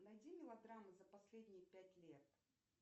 найди мелодрамы за последние пять лет